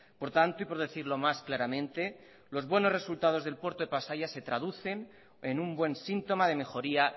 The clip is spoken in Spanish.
por tanto y por decirlo más claramente los buenos resultados del puerto de pasaia se traducen en un buen síntoma de mejoría